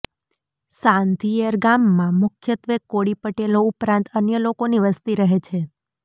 સાંધિયેર ગામમાં મુખ્યત્વે કોળી પટેલો ઉપરાંત અન્ય લોકોની વસ્તી રહે છે